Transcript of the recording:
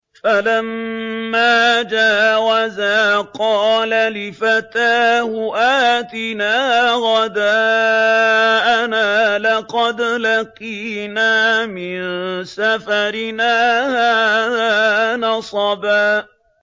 فَلَمَّا جَاوَزَا قَالَ لِفَتَاهُ آتِنَا غَدَاءَنَا لَقَدْ لَقِينَا مِن سَفَرِنَا هَٰذَا نَصَبًا